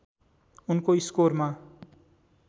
उनको स्कोरमा